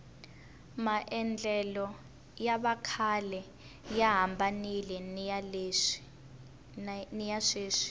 maendlelo ya vakhale ya hambanile niya sweswi